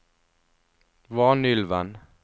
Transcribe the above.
Vanylven